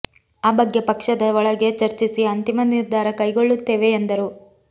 ಆ ಬಗ್ಗೆ ಪಕ್ಷದ ಒಳಗೆ ಚರ್ಚಿಸಿ ಅಂತಿಮ ನಿರ್ಧಾರ ಕೈಗೊಳ್ಳುತ್ತೇವೆ ಎಂದರು